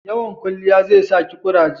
Yawan kwalliya zai sa ki kuraje